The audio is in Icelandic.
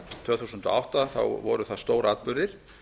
tvö þúsund og átta þá voru það stóratburðir